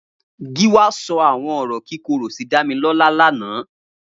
Giwa sọ awọn ọrọ kikóró si Damilola làná